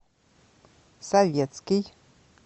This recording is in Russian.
советский